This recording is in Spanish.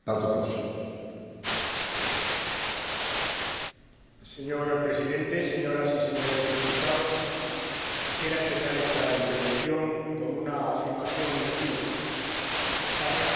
Señor Presidente, señoras y señores diputados, quisiera empezar esta intervención con una afirmación inequívoca España apoyó de manera clara, con rotundidad, el Tratado de Lisboa.